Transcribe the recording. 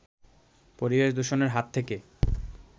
পরিবেশ দূষণের হাত থেকে